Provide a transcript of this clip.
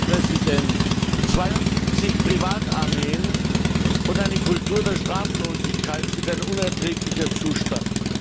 Herr Präsident! 72 Privatarmeen und eine Kultur der Straflosigkeit sind ein unerträglicher Zustand.